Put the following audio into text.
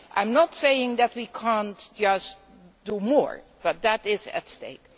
I am not saying that we cannot just do more, but that is at stake.